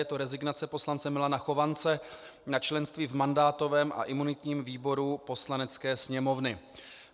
Je to rezignace poslance Milana Chovance na členství v mandátovém a imunitním výboru Poslanecké sněmovny.